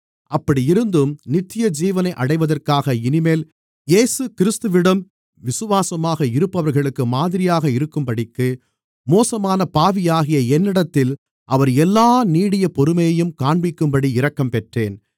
அப்படி இருந்தும் நித்தியஜீவனை அடைவதற்காக இனிமேல் இயேசுகிறிஸ்துவிடம் விசுவாசமாக இருப்பவர்களுக்கு மாதிரியாக இருக்கும்படிக்கு மோசமான பாவியாகிய என்னிடத்தில் அவர் எல்லா நீடிய பொறுமையையும் காண்பிக்கும்படி இரக்கம்பெற்றேன்